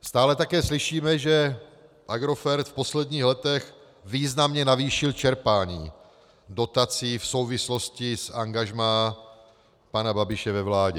Stále také slyšíme, že Agrofert v posledních letech významně navýšil čerpání dotací v souvislosti s angažmá pana Babiše ve vládě.